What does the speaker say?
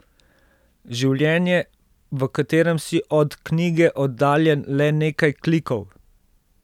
Življenje, v katerem si od knjige oddaljen le nekaj klikov.